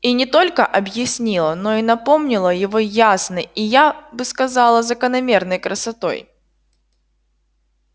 и не только объяснила но и напомнила его ясной и я бы сказала закономерной красотой